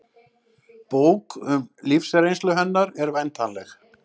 Bók um lífsreynslu hennar er væntanleg